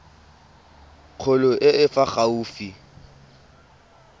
kgolo e e fa gaufi